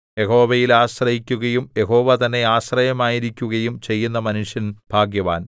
യഹോവയിൽ ആശ്രയിക്കുകയും യഹോവ തന്നെ ആശ്രയമായിരിക്കുകയും ചെയ്യുന്ന മനുഷ്യൻ ഭാഗ്യവാൻ